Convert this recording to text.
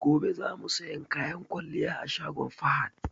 Gobe za mu siyan kayan kwalliya a shagon Fahad.